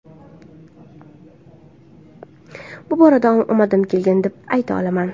Bu borada omadim kelgan, deb ayta olaman.